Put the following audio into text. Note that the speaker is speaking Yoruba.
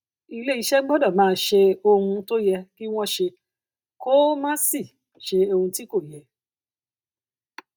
iléeṣẹ gbọdọ máa ṣe ohun um tó yẹ kí wọn ṣe kó um má sì um ṣe ohun tí kò yẹ